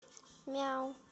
мяу